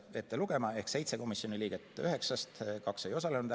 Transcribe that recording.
seitse komisjoni liiget üheksast, kaks liiget ei osalenud.